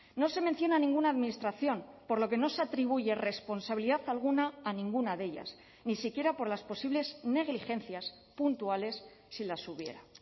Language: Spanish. no se menciona ninguna administración por lo que no se atribuye responsabilidad alguna a ninguna de ellas ni siquiera por las posibles negligencias puntuales si las hubiera